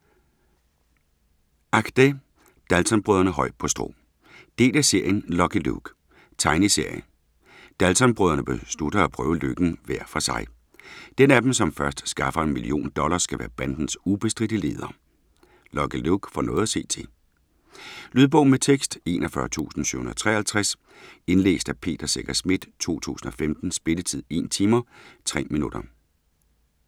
Achdé: Daltonbrødrene højt på strå Del af serien Lucky Luke. Tegneserie. Daltonbrødrene beslutter at prøve lykken hver for sig. Den af dem, som først skaffer en million dollars, skal være bandens ubestridte leder. Lucky Luke får noget at se til. Lydbog med tekst 41753 Indlæst af Peter Secher Schmidt, 2015. Spilletid: 1 timer, 3 minutter.